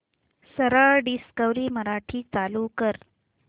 सरळ डिस्कवरी मराठी चालू कर